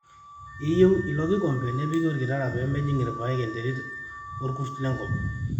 eyieu ilokombe nepiki orkitara pee mejing irpaek enterit orkurt lenkop